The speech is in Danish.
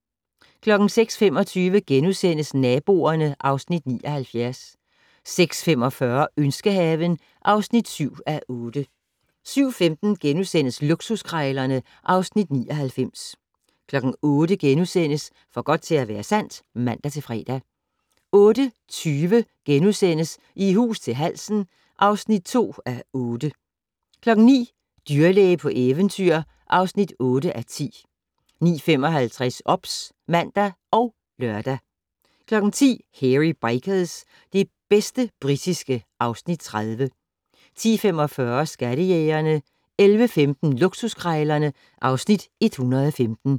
06:25: Naboerne (Afs. 79)* 06:45: Ønskehaven (7:8) 07:15: Luksuskrejlerne (Afs. 99)* 08:00: For godt til at være sandt *(man-fre) 08:20: I hus til halsen (2:8)* 09:00: Dyrlæge på eventyr (8:10) 09:55: OBS (man og lør) 10:00: Hairy Bikers - det bedste britiske (Afs. 30) 10:45: Skattejægerne 11:15: Luksuskrejlerne (Afs. 115)